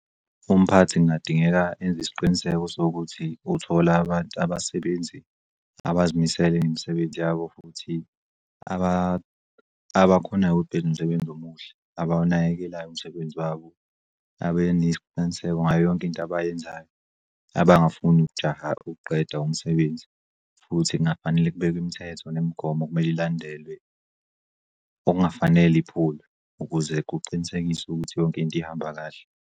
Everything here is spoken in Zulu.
Umphathi kungadingeka enze isiqiniseko sokuthi uthola abantu abasebenzi abazimisele ngemisebenzi yabo abakhonayo ukuthi benze umsebenzi omuhle, abawunakekelayo umsebenzi wabo, abe nesiqiniseko ngayo yonk'into abayenzayo abangafuni ukujaha ukuqeda umsebenzi futhi kungafanele kubekw'imithetho nemigomo okumele ilandelwe okungafanele iphulwe ukuze kuqinisekiswe ukuthi yonkinto ihamba kahle.